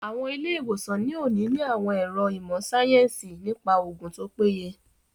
Àwọn ilé-ìwòsàn ní òní ní àwọn àwọn ẹ̀ro ìmọ̀ síáyẹ́nsì nípa oògùn tó péye